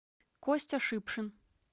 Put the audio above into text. костя шипшин